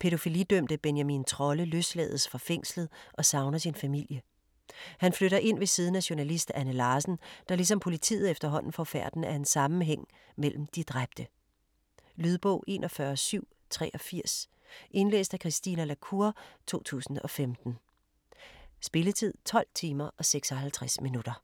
Pædofilidømte Benjamin Trolle løslades fra fængslet og savner sin familie. Han flytter ind ved siden af journalist Anne Larsen, der ligesom politiet efterhånden får færten af en sammenhæng mellem de dræbte. Lydbog 41783 Indlæst af Christine la Cour, 2015. Spilletid: 12 timer, 56 minutter.